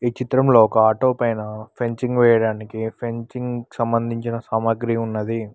ఈ చిత్రంలో ఒక ఆటో పైన ఫెంచింగ్ వేయడానికి ఫెంచింగ్ సంబంధించిన సామాగ్రి ఉన్నది.